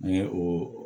An ye o